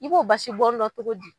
I b'o basi bɔn dɔn cogo di ?